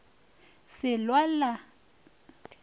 se lwela se a phethagala